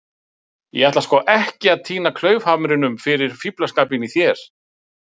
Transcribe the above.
. ég ætla sko ekki að týna klaufhamrinum fyrir fíflaskapinn í þér.